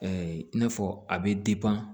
i n'a fɔ a bɛ